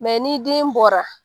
ni den bɔra